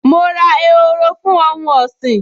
Mo ra ehoro fún ohun ọ̀sìn